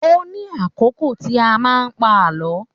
Ó ní àkókò tí a máa ń pa àlọ́